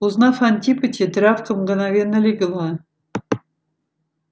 узнав антипыча травка мгновенно легла